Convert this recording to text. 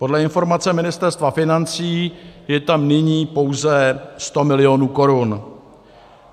Podle informace Ministerstva financí je tam nyní pouze 100 milionů korun.